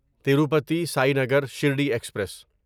Tirupati Sainagar Shirdi express